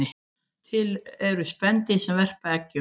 Til eru spendýr sem verpa eggjum